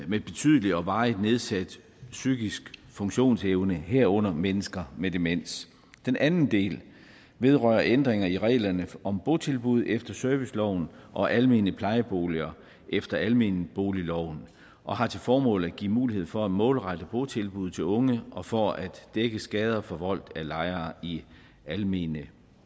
med betydelig og varigt nedsat psykisk funktionsevne herunder mennesker med demens den anden del vedrører ændringer i reglerne om botilbud efter serviceloven og almene plejeboliger efter almenboligloven og har til formål at give mulighed for at målrette botilbuddet til unge og for at dække skader forvoldt af lejere i almene